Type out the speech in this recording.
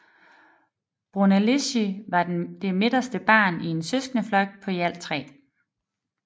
Brunelleschi var det midterste barn i en søskendeflok på i alt tre